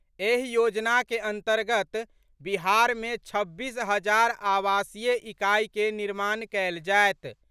एहि योजना के अंतर्गत बिहार मे छब्बीस हजार आवासीय इकाई के निर्माण कयल जायत।